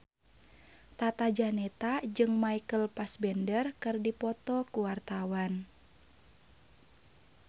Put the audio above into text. Tata Janeta jeung Michael Fassbender keur dipoto ku wartawan